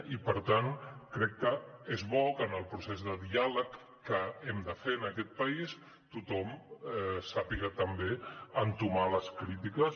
i per tant crec que és bo que en el procés de diàleg que hem de fer en aquest país tothom sàpiga també entomar les crítiques